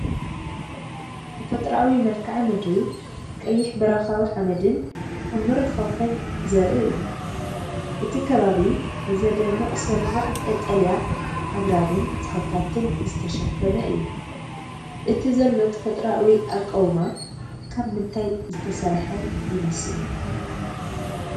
ተፈጥሮኣዊ መልክዓ ምድሪ ቀይሕ በረኻዊ ሓመድን ዕሙር ኻውሕን ዘርኢ እዩ። እቲ ከባቢ ብዘደንቕ ስርርዕ ቀጠልያ ኣግራብን ተኽልታትን ዝተሸፈነ እዩ። እቲ ዘሎ ተፈጥሮኣዊ ኣቃውማ ካብ ምንታይ ዝተሰርሐ ይመስል?